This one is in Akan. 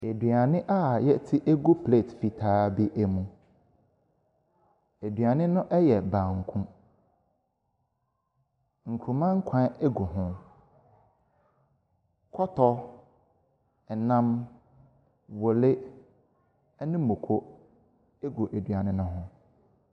Aduane a yɛate agu pleet fitaa mu. Aduane no yɛ banku. Nkruma nkwan gu ho. Kɔtɔ, nam, wɔle ne moko egu aduane no ho.